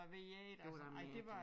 Hvad ved jeg altså nej det var